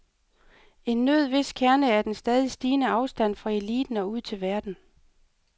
En nød hvis kerne er den stadig stigende afstand fra eliten og ud til verden.